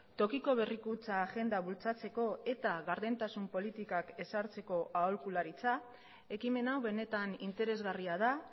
tokiko berrikuntza agenda bultzatzeko eta gardentasun politikak ezartzeko aholkularitza ekimen hau benetan interesgarria da